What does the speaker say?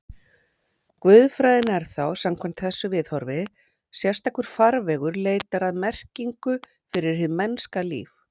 Guðfræðin er þá, samkvæmt þessu viðhorfi, sérstakur farvegur leitar að merkingu fyrir hið mennska líf.